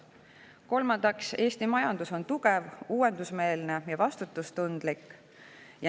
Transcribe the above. Kolmandaks, Eesti majandus on tugev, uuendusmeelne ja vastutustundlik.